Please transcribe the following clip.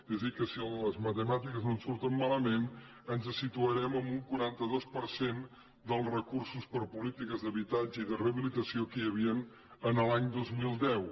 és a dir que si les matemàtiques no ens surten malament ens situarem en un quaranta dos per cent dels recursos per a polítiques d’habitatge i de rehabilitació que hi havia l’any dos mil deu